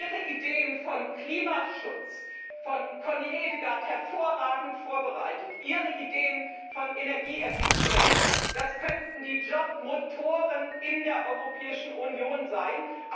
Ihre Ideen von Klimaschutz, von Connie Hedegaard hervorragend vorbereitet, Ihre Ideen von Energieeffizienz das könnten die Jobmotoren in der Europäischen Union sein.